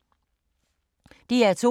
DR2